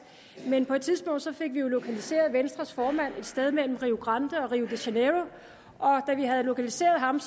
men på et tidspunkt fik vi jo lokaliseret venstres formand et sted mellem rio grande og rio de janeiro og da vi havde lokaliseret ham